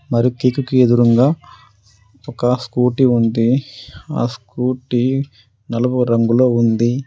మరియు కేకుకి ఎదురుంగా ఒక స్కూటీ ఉంది. ఆ స్కూటీ నలుపు రంగులో ఉంది.